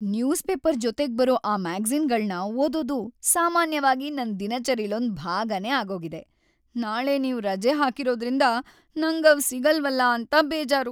News paper ಜೊತೆಗ್ಬರೋ ಆ ಮ್ಯಾಗಜೀ಼ನ್‌ಗಳ್ನ ಓದೋದು ಸಾಮಾನ್ಯವಾಗಿ ನನ್‌ ದಿನಚರಿಲೊಂದ್‌ ಭಾಗನೇ ಆಗೋಗಿದೆ. ನಾಳೆ ನೀವ್‌ ರಜೆ ಹಾಕಿರೋದ್ರಿಂದ ನಂಗ್‌ ಅವ್ ಸಿಗಲ್ವಲ ಅಂತ ಬೇಜಾರು.